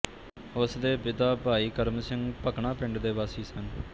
ਉਸ ਦੇ ਪਿਤਾ ਭਾਈ ਕਰਮ ਸਿੰਘ ਭਕਨਾ ਪਿੰਡ ਦੇ ਵਾਸੀ ਸਨ